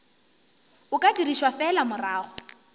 o ka dirišwa fela morago